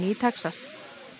í Texas